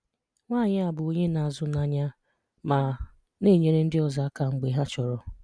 Nwáànyì a bụ onye na-azụ́nànyà ma na-enyèrè ndị ọzọ àká mg̀bè ha chọ̀rò.